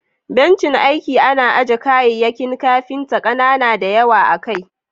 Bencin aiki ana aje kayayyakin kafinta kanana da yawa akai.